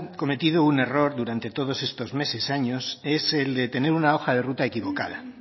cometido un error durante todos estos meses años es el de tener una hoja de ruta equivocada